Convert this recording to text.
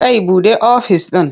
Kai buɗe ofis ɗin.